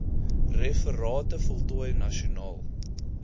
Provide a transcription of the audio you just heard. referate voltooi nasionaal